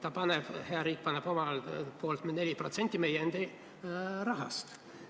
Aga hea riik paneb omalt poolt 4% meie endi raha kasutades.